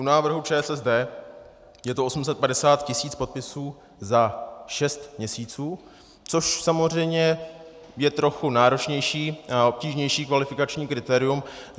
U návrhu ČSSD je to 850 tisíc podpisů za šest měsíců, což samozřejmě je trochu náročnější a obtížnější kvalifikační kritérium.